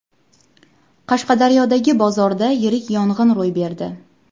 Qashqadaryodagi bozorda yirik yong‘in ro‘y berdi .